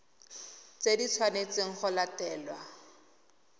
tse di tshwanetsweng go latelwa